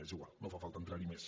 és igual no fa falta entrar hi més